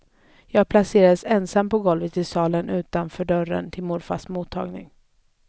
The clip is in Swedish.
Jag placerades ensam på golvet i salen utanför dörren till morfars mottagning.